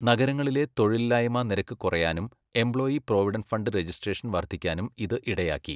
നഗരങ്ങളിലെ തൊഴിലില്ലായ്മാ നിരക്ക് കുറയാനും എംപ്ലോയീ പ്രൊവിഡന്റ് ഫണ്ട് റജിസ്ട്രേഷൻ വർധിക്കാനും ഇത് ഇടയാക്കി.